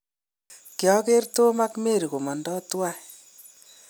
kiageer tom ak Marry komondoi tawai